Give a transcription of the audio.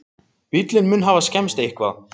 Bíllinn mun hafa skemmst eitthvað